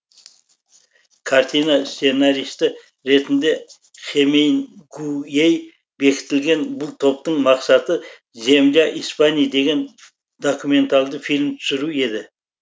картина сценаристы ретінде хемингуэй бекітілген бұл топтың мақсаты земля испании деген документалды фильм түсіру еді